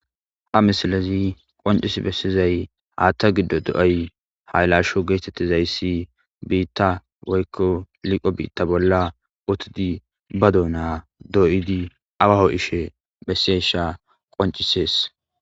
Ha misilazi qoncis bessizay haatta giddo do7ay hay laasho geetettizayssi biitta woykko liqo biitta bolla utidi ba dona dooyidi awaho ishe bessesha qoncisees.